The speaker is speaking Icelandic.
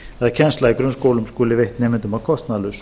kennsla í grunnskólum skuli veitt nemendum að kostnaðarlausu